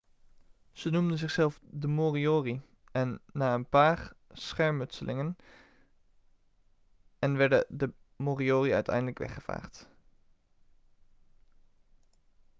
ze noemden zichzelf de moriori en na een paar schermutselingen en werden de moriori uiteindelijk weggevaagd